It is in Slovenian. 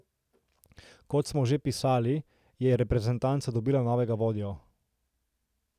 Kot smo že pisali, je reprezentanca dobila novega vodjo.